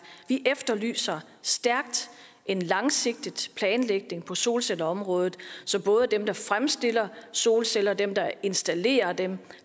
vi efterlyser stærkt en langsigtet planlægning på solcelleområdet så både dem der fremstiller solceller dem der installerer dem